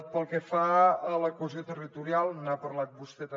pel que fa a la cohesió territorial n’ha parlat vostè també